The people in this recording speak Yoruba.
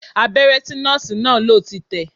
Abẹ́rẹ́ tí Nọ́ọ̀sì náà lò ti tẹ̀